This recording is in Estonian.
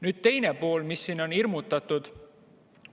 Nüüd teine asi, millega siin on hirmutatud.